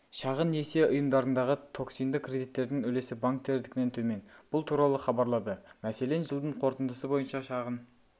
шағын несие ұйымдарындағы токсинді кредиттердің үлесі банктердікінен төмен бұл туралы хабарлады мәселен жылдың қорытындысы бойынша шағын